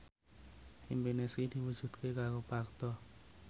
impine Sri diwujudke karo Parto